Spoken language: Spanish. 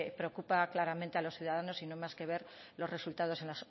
preocupa claramente a los ciudadanos y no hay más que ver los resultados en